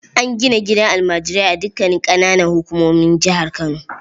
An gina gidan almajirai a dukanin ƙananan hukumomin jihar Kano.